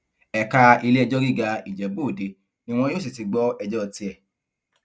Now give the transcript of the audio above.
ẹka iléẹjọ gíga ìjẹbúọdẹ ni wọn yóò sì ti gbọ ẹjọ tiẹ